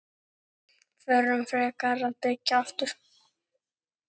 Förum frekar að byggja aftur.